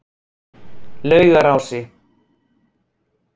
Laugarási